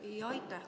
Aitäh!